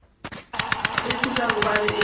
a tšhoša gobane a be